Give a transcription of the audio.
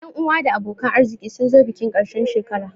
Ƴan uwa da abokan arziki sun zo bikin ƙarshen shekara